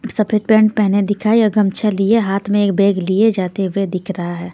सफेद पेंट पहने दिखाई और गमछा लिए हाथ में एक बैग लिए जाते हुए दिख रहा है.